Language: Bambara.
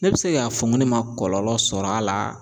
Ne bɛ se k'a fɔ ne ma kɔlɔlɔ sɔrɔ a la